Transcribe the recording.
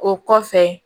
O kɔfɛ